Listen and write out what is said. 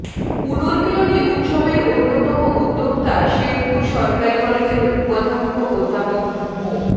পুনর্মিলনী উৎসবের অন্যতম উদ্যোক্তা শেরপুর সরকারি কলেজের উপাধ্যক্ষ অধ্যাপক মো